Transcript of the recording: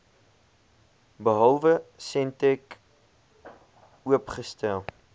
behalwe sentech oopgestel